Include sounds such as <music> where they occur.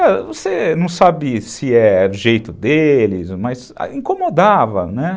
<unintelligible> você não sabe se é do jeito deles, mas incomodava, né?